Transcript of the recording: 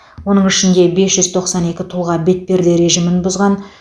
оның ішінде бес жүз тоқсан екі тұлға бетперде режимін бұзған